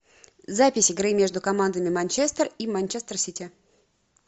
запись игры между командами манчестер и манчестер сити